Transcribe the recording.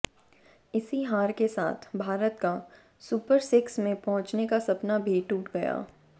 इसी हार के साथ भारत का सुपर सिक्स में पहुंचने का सपना भी टूट गया